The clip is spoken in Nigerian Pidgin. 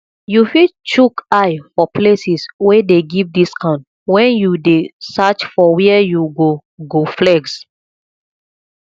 you fit chook eye for places wey dey give discount when you dey search for where you go go flex